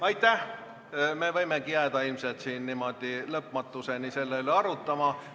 Ilmselt me võimegi jääda siin niimoodi lõpmatuseni selle üle arutama.